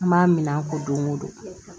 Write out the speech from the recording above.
N b'a min a ko don ko don